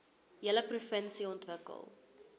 hele provinsie ontwikkel